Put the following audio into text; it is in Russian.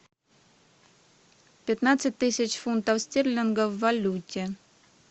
пятнадцать тысяч фунтов стерлингов в валюте